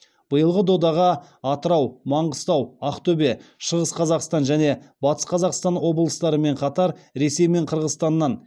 биылғы додаға атырау маңғыстау ақтөбе шығыс қазақстан және батыс қазақстан облыстарымен қатар ресей мен қырғызстаннан